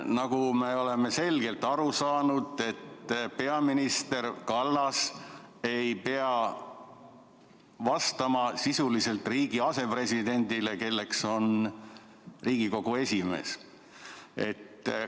Nagu me oleme selgelt aru saanud, ei pea peaminister Kallas vastama Riigikogu esimehele, kes on sisuliselt riigi asepresident.